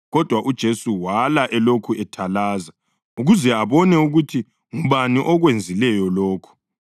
Kodwa uJesu wala elokhu ethalaza ukuze abone ukuthi ngubani okwenzileyo lokho.